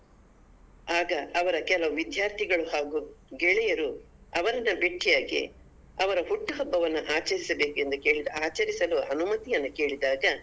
ಆಗ ಅವರ ಕೆಲವು ವಿದ್ಯಾರ್ಥಿಗಳು ಹಾಗು ಗೆಳೆಯರು ಅವರನ್ನ ಭೆಟ್ಟಿಯಾಗಿ ಅವರ ಹುಟ್ಟುಹಬ್ಬವನ್ನ ಆಚರಿಸಿಬೇಕೆಂದು ಕೇಳಿದ ಆಚರಿಸಲು ಅನುಮತಿಯನ್ನು ಕೇಳಿದಾಗ.